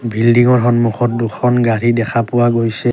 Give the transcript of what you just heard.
বিল্ডিংৰ সন্মুখত দুখন গাড়ী দেখা পোৱা গৈছে।